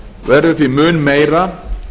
verður því mun meira